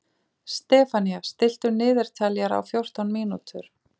Stefanía, stilltu niðurteljara á fjórtán mínútur.